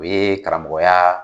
U ye karamɔgɔya